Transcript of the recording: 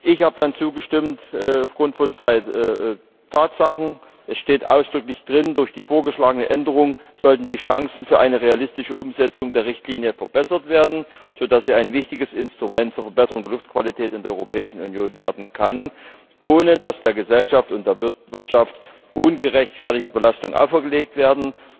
Ich habe aufgrund von zwei Tatsachen zugestimmt Es steht ausdrücklich drin, durch die vorgeschlagene Änderung sollten die Chancen für eine realistische Umsetzung der Richtlinie verbessert werden, sodass sie ein wichtiges Instrument zur Verbesserung der Luftqualität in der Europäischen Union werden kann, ohne dass der Gesellschaft und der Wirtschaft ungerechtfertigte Belastungen auferlegt werden.